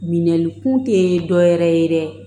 Minɛnni kun te dɔwɛrɛ ye dɛ